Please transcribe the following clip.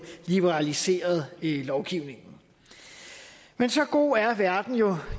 liberaliseret lovgivningen men så god er verden jo